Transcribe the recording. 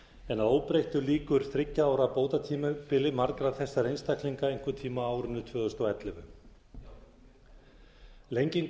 en að óbreyttu lýkur þriggja ára bótatímabili margra þessara einstaklinga einhvern tíma á árinu tvö þúsund og ellefu lenging